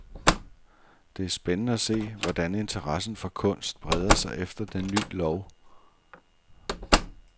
Det er spændende at se, hvordan interessen for kunst breder sig efter den ny lov.